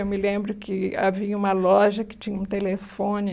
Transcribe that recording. Eu me lembro que havia uma loja que tinha um telefone.